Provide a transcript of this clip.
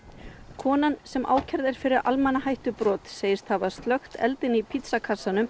konan sem ákærð er fyrir segist hafa slökkt eldinn í